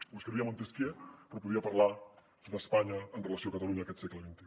ho escrivia montesquieu però podia parlar d’espanya amb relació a catalunya aquest segle xxi